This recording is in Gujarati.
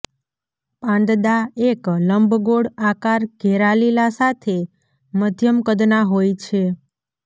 પાંદડા એક લંબગોળ આકાર ઘેરા લીલા સાથે મધ્યમ કદના હોય છે